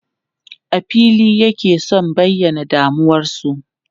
A fili yake sun bayyana damuwarsu.